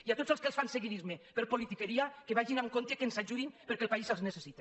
i a tots els que els fan seguidisme per politiqueria que vagin amb compte i que ens ajudin perquè el país els necessita